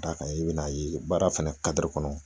D'a kan i be n'a ye baara fana kad'a kɔnɔ